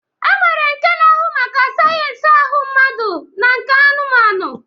E nwere nke na-ahụ maka sayensị ahụ mmadụ na nke anụmanụ